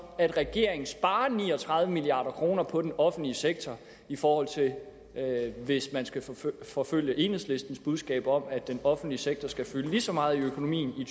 at regeringen sparer ni og tredive milliard kroner på den offentlige sektor i forhold til hvis man skal forfølge enhedslistens budskab om at den offentlige sektor skal fylde lige så meget i økonomien